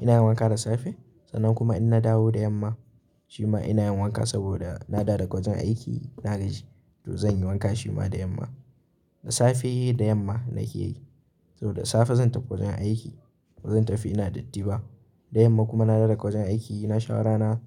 ina yi wanka da safe. Sannan kuma in na dawo da yamma shi ma ina yin wanka saboda na dawo daga wajen aiki na gaji to zan yi wanka shi ma da yamma. Da safe da yamma na ke yi. Saboda dasafe zan tafi wajen aiki, bazan tafi ina datti ba. Da yamma kuma na dawo daga wajen aiki na shawo rana,